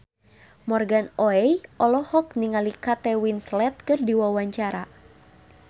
Morgan Oey olohok ningali Kate Winslet keur diwawancara